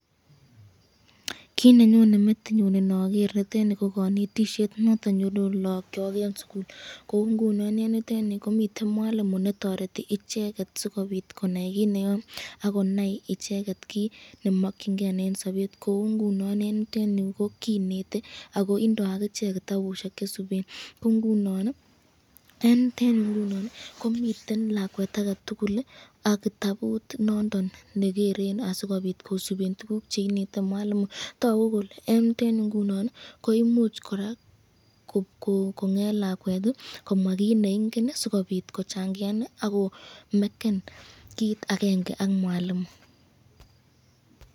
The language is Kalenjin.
Kit nenyone metinyun inoger nitoni ko kanetisyet noto nenyuru lagokyok eng sukul, koungunon eng yutenyu komiten mwalimu netoreti icheket sikobit konai kit neyoe akonai icheket kit nemakyinken eng sabet kou ngunon eng yutenyu kinete akoibdo ak icheket kitabusyek chesuben koungunon ,komiten lakwet ake tukul ak kitabut noton negeren asikobit kosuben kit neinete mwalimu toku eng yutenyu koraa kole imuch komwa lakwet kit neingen asikobit kochangian akobit komaken kit akenge ak mwalimu.